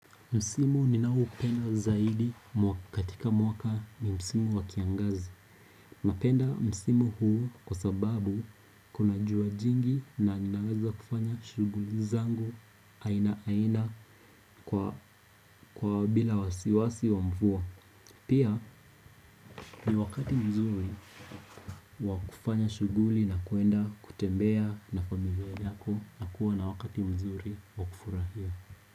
Msimu ninao upenda zaidi katika mwaka ni Msimu wa kiangazi. Napenda msimu huu kwa sababu kuna jua jingi na ninaweza kufanya shughuli zangu aina aina kwa bila wasiwasi wa mvua. Pia ni wakati mzuri wakufanya shughuli na kuenda kutembea na familia yako na kuwa na wakati mzuri wakufurahia.